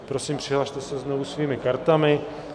Prosím, přihlaste se znovu svými kartami.